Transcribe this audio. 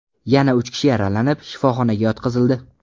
Yana uch kishi yaralanib, shifoxonaga yotqizildi.